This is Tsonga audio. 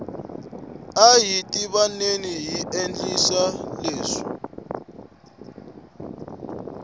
ahi tivaneni yi endliwa hi vandyangu